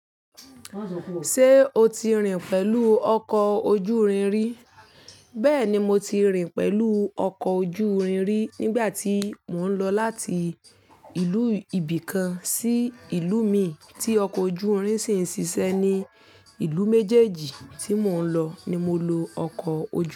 Ṣé o ti rìn pẹ̀lú ọkọ̀ ojú irin rí? Bẹ́ẹ̀ni, mo ti rìn pẹ̀lú ọkọ̀ ojú irin rí nígbà tí mò ń lọ láti ìlú ibì kan sí ìlú mìí tí ọkọ̀ ojú irin ṣì ń ṣiṣẹ́ ní ìlú méjèèjì tí mò ń lọ ni mo lo ọkọ̀ ojú irin.